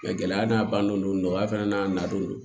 gɛlɛya n'a ban don nɔgɔya fana n'a nalen do